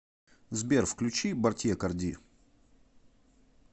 сбер включи бартье карди